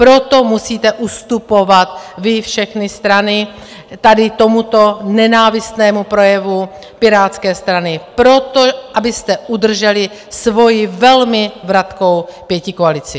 Proto musíte ustupovat vy, všechny strany, tady tomuto nenávistnému projevu Pirátské strany, proto, abyste udrželi svoji velmi vratkou pětikoalici.